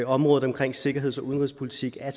området omkring sikkerheds og udenrigspolitik er